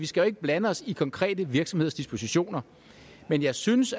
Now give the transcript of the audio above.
skal blande os i konkrete virksomheders dispositioner men jeg synes